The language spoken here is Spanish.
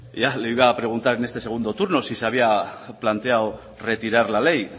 le iba a preguntar en este segundo turno si se había planteado retirar la ley